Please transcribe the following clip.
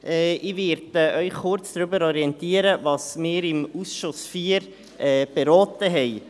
Ich werde Sie kurz darüber informieren, was wir im Ausschuss IV beraten haben.